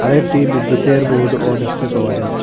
আরও একটি বিদ্যুতের বোর্ড ও দেখতে পাওয়া যাচ্ছে।